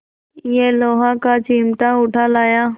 यह लोहे का चिमटा उठा लाया